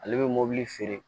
Ale bɛ mobili feere